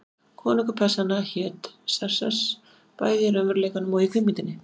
Konungur Persanna hét Xerxes, bæði í raunveruleikanum og í kvikmyndinni.